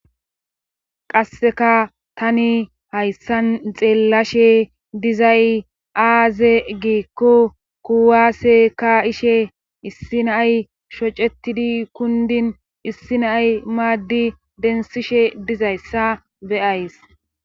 Qasseka tani hayssan xeellashe dizay aaze giikko kuwaase ka'ishe issi naay shocetidi kundin issi naay maaddi densishe dizayssa beyays.